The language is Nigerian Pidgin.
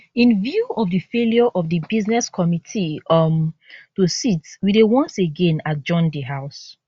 in view of di failure of di business committee um to sitwe dey once again adjourn di house